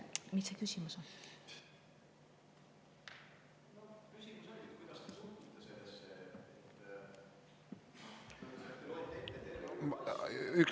Mis see küsimus on?